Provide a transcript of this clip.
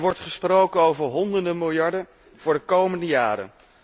Er wordt gesproken over honderden miljarden voor de komende jaren.